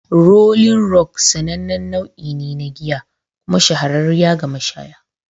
"Rolling Rock'' sanannen nau'ine na giya kuma shahararriya ga mashaya.